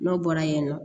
N'o bɔra yen nɔ